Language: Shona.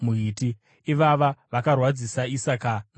Ivava vakarwadzisa Isaka naRabheka.